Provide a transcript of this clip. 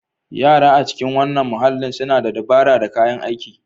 Yara a cikin wannan muhalli suna da dabara da kayan aiki.